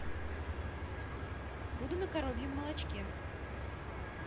буду на коровьем молочке